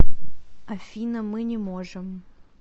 афина мы не можем